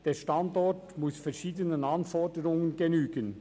Der Standort muss verschiedenen Anforderungen genügen.